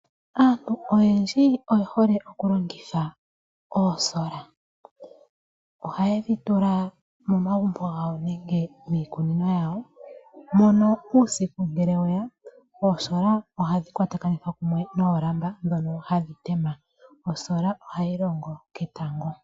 Aantu oyendji oye hole okulongitha oosola. Ohaye dhi tula momagumbo gawo nenge miikunino yawo. Mono uusiku ngele weya oosola ohadhi kwatakanithwa kumwe noolamba ndhono hadhi tema. Osola ohayi longo ketango.